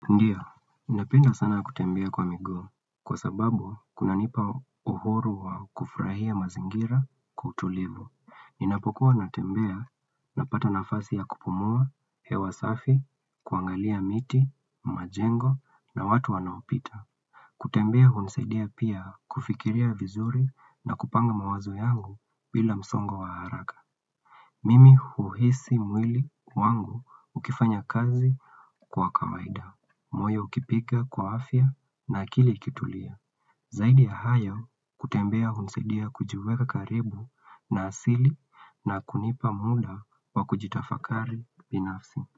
Ndiyo, napenda sana kutembea kwa miguu, kwa sababu kuna nipa uhuru wa kufrahia mazingira kwa utulivu. Inapokuwa natembea napata nafasi ya kupumua, hewa safi, kuangalia miti, majengo na watu wanaopita. Kutembea hunsaidia pia kufikiria vizuri na kupanga mawazo yangu bila msongo wa haraka. Mimi huhisi mwili wangu ukifanya kazi kwa kawaida. Moyo ukipika kwa afya na kili kutulia. Zaidi ya hayo kutembea hunisidia kujiweka karibu na asili na kunipa muda wa kujitafakari binafsi.